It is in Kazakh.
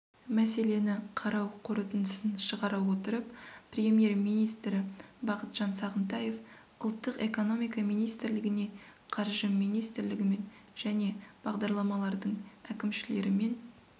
мәселені қарау қорытындысын шығара отырып премьер-министрі бақытжан сағынтаев ұлттық экономика министрлігіне қаржы министрлігімен және бағдарламалардың әкімшілерімен